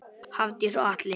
Hafdís og Atli.